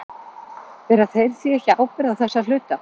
Bera þeir því ekki ábyrgð á þessu að hluta?